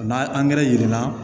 N'a angɛrɛ yir'i la